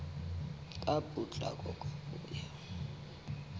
ka potlako ka ho ya